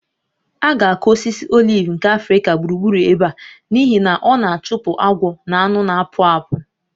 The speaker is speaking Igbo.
A ga-akụ osisi oliv nke Africa gburugburu ebe a n'ihi na ọ na-achụpụ agwọ na anụ na-akpụ akpụ